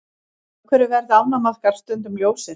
Af hverju verða ánamaðkar stundum ljósir?